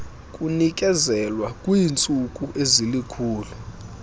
kunikezelwa kwiintsuku ezilikhulu